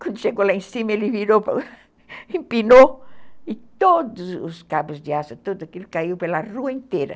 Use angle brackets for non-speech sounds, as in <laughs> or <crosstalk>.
Quando chegou lá em cima, ele virou, <laughs> empinou, e todos os cabos de aço, tudo aquilo caiu pela rua inteira.